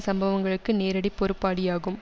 சம்பவங்களுக்கு நேரடி பொறுப்பாளியாகும்